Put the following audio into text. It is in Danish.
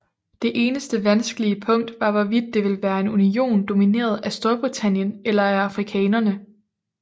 Det eneste vanskelige punkt var hvorvidt det ville være en union domineret af Storbritannien eller af afrikanerne